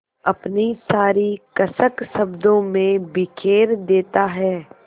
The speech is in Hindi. अपनी सारी कसक शब्दों में बिखेर देता है